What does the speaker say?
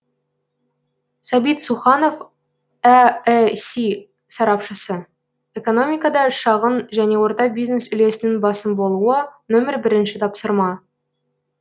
сәбит суханов әэси сарапшысы экономикада шағын және орта бизнес үлесінің басым болуы нөмір бірінші тапсырма